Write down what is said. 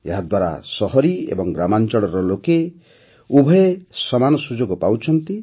ଏହାଦ୍ୱାରା ସହରୀ ଏବଂ ଗ୍ରାମାଞ୍ଚଳର ଲୋକେ ଉଭୟେ ସମାନ ସୁଯୋଗ ପାଉଛନ୍ତି